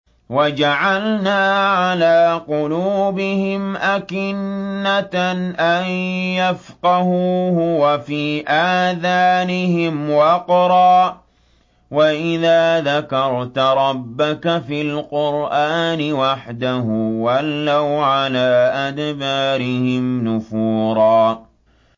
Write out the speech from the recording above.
وَجَعَلْنَا عَلَىٰ قُلُوبِهِمْ أَكِنَّةً أَن يَفْقَهُوهُ وَفِي آذَانِهِمْ وَقْرًا ۚ وَإِذَا ذَكَرْتَ رَبَّكَ فِي الْقُرْآنِ وَحْدَهُ وَلَّوْا عَلَىٰ أَدْبَارِهِمْ نُفُورًا